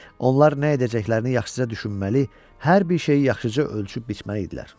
Onlar nə edəcəklərini yaxşıca düşünməli, hər bir şeyi yaxşıca ölçüb-biçməli idilər.